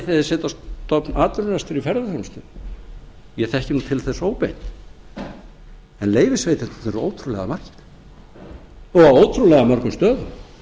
þeir setja á stofn atvinnurekstur í ferðaþjónustu ég þekki nú til þess óbeint en leyfisveitendurnir eru ótrúlega margir og á ótrúlega mörgum stöðum